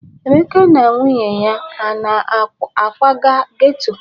Emeka na nwunye ya ana-akwaga geto?